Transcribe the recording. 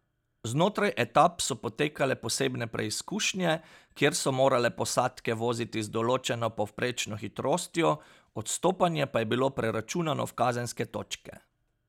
Znotraj etap so potekale posebne preizkušnje, kjer so morale posadke voziti z določeno povprečno hitrostjo, odstopanje pa je bilo preračunano v kazenske točke.